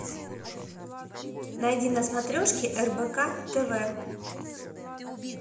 найди на смотрешке рбк тв